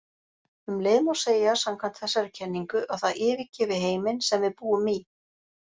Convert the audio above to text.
Um leið má segja samkvæmt þessari kenningu að það yfirgefi heiminn sem við búum í.